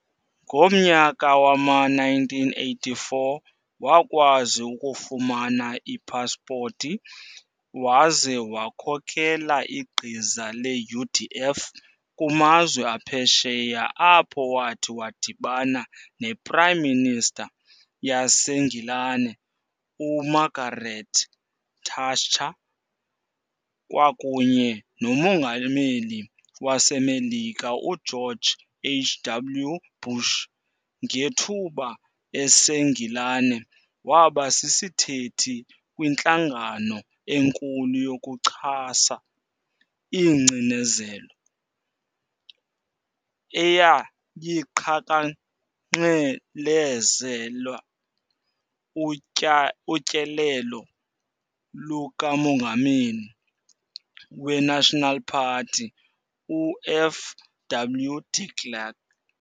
Ngomnyaka wama-1984 wakwazi ukufumana ipaspoti waze wakhokela igqiza le-UDF kumazwe aphesheya apho wathi wadibana nePrime Minister yaseNgilane uMargaret Thatcher kwakunye noMongameli waseMelika uGeorge H.W. Bush. Ngethuba eseNgilane waba sisithethi kwintlangano enkulu yokuchasa ingcinezelo, eyayiqhankqalezela utyelelo lukamongameli we-National Party, u-FW De Klerk.